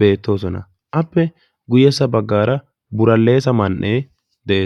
beettoosona. appe guyessa baggaara buraleessa man"ee de'ees.